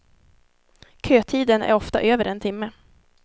Kötiden är ofta över en timme.